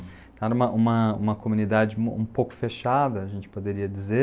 Era uma uma uma comunidade um um pouco fechada, a gente poderia dizer,